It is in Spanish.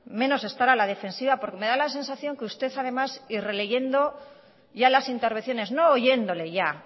menos estar a la defensiva porque me da la sensación y releyendo ya las intervenciones no oyéndole ya